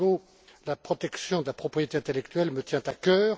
Hidalgo, la protection de la propriété intellectuelle me tient à cœur.